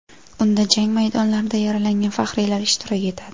Unda jang maydonlarida yaralangan faxriylar ishtirok etadi.